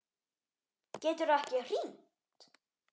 Geturðu ekki hringt?